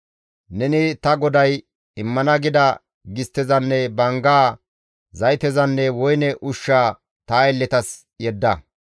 «Neni ta goday immana gida gisttezanne banggaa, zaytezanne woyne ushshaa ta aylletas yedda.